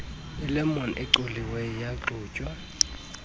ilemon ecoliweyo yaxutywa